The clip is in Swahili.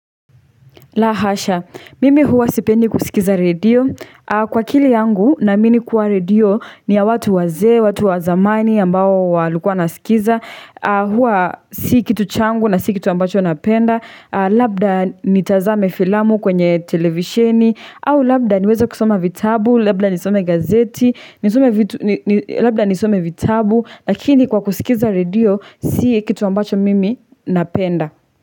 La hasha, mimi huwa sipendi kusikiza radio, kwa akili yangu naamini kuwa radio ni ya watu wazee, watu wa zamani ambao walikua wanasikiza, huwa si kitu changu na si kitu ambacho napenda, labda nitazame filamu kwenye televisheni, au labda niweze kusoma vitabu, labda nisome gazeti nisome vitu labda nisome vitabu, lakini kwa kuskiza radio, si kitu ambacho mimi napenda.